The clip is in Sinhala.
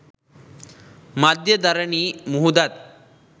මධ්‍යධරණී මුහුදත්,